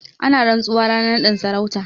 Ana rantsuwa ranar naɗin sarauta.